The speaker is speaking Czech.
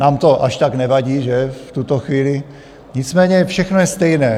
Nám to až tak nevadí, že, v tuto chvíli, nicméně všechno je stejné.